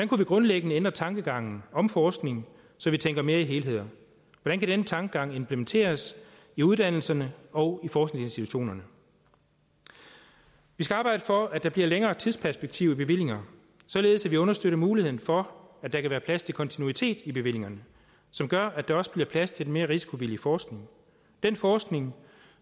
kunne vi grundlæggende ændre tankegangen om forskning så vi tænker mere i helheder hvordan kan denne tankegang implementeres i uddannelserne og på forskningsinstitutionerne vi skal arbejde for at der bliver et længere tidsperspektiv i bevillinger således at vi understøtter muligheden for at der kan være plads til kontinuitet i bevillingerne som gør at der også bliver plads til den mere risikovillige forskning den forskning